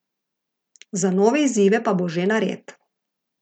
Za nove izzive pa bo že nared.